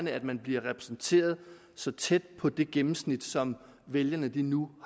at man bliver repræsenteret så tæt på det gennemsnit som vælgerne nu